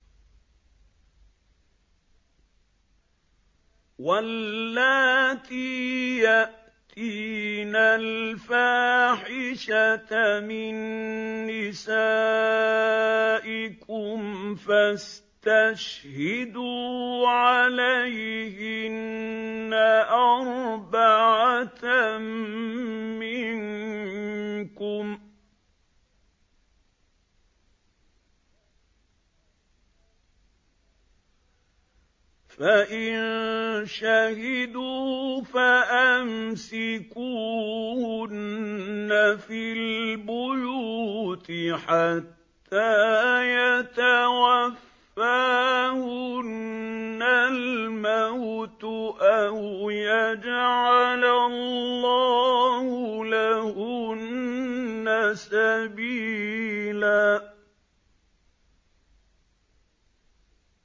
وَاللَّاتِي يَأْتِينَ الْفَاحِشَةَ مِن نِّسَائِكُمْ فَاسْتَشْهِدُوا عَلَيْهِنَّ أَرْبَعَةً مِّنكُمْ ۖ فَإِن شَهِدُوا فَأَمْسِكُوهُنَّ فِي الْبُيُوتِ حَتَّىٰ يَتَوَفَّاهُنَّ الْمَوْتُ أَوْ يَجْعَلَ اللَّهُ لَهُنَّ سَبِيلًا